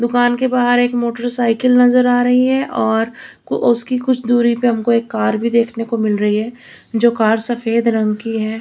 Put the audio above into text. दुकान के बाहर एक मोटरसाइकिल नजर आ रही है और उसकी कुछ दूरी पर हमको एक कार भी देखने को मिल रही है जो कार सफेद रंग की है।